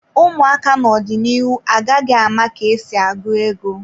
Ụmụaka n'ọdịnihu agaghị ama ka esi agụ ego.